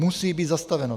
Musí být zastaveno.